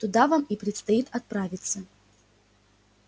туда вам и предстоит отправиться